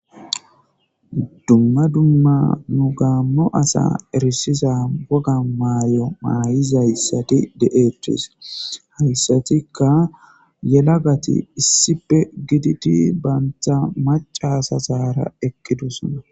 Dumma dumma gamo asa erisiza woga mayo mayizaysati de'etes haysatika yelagati issipe gididi banta maca asara eqidosona